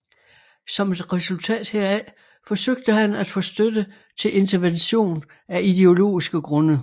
Som et resultat heraf forsøgte han at få støtte til intervention af ideologiske grunde